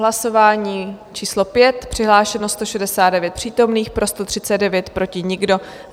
Hlasování číslo 5, přihlášeno 169 přítomných, pro 139, proti nikdo.